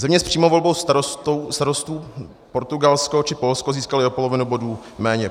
Země s přímou volbou starostů - Portugalsko či Polsko - získaly o polovinu bodů méně.